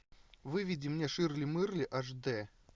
выведи мне ширли мырли аш дэ